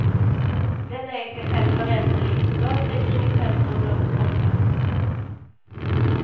Den är i sig själv föränderlig, rör sig kring ett centrum långt borta.